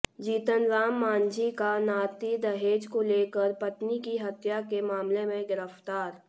जीतनराम मांझी का नाती दहेज को लेकर पत्नी की हत्या के मामले में गिरफ्तार